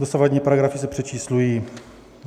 Dosavadní paragrafy se přečíslují.